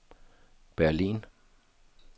Berlin